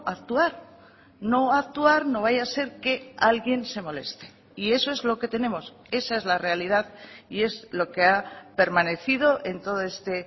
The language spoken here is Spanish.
actuar no actuar no vaya a ser que alguien se moleste y eso es lo que tenemos esa es la realidad y es lo que ha permanecido en todo este